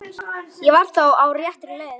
Ég var þá á réttri leið!